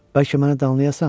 Bəlkə məni danlayasan?